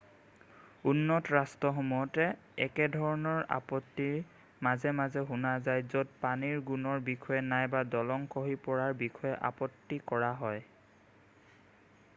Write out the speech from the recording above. উন্নত ৰাষ্ট্ৰসমূহত একেধৰণৰ আপত্তি মাজে মাজে শুনা যাই য'ত পানীৰ গুণৰ বিষয়ে নাইবা দলং খহি পৰাৰ বিষয়ে আপত্তি কৰা হয়